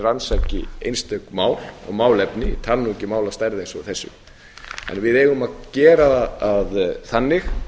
rannsaki einstök mál og málefni tala nú ekki um mál af stærð eins og þessu en við eigum að gera það þannig